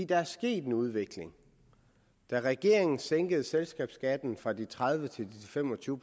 der er sket en udvikling da regeringen sænkede selskabsskatten fra tredive til fem og tyve